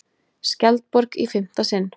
Skjaldborg í fimmta sinn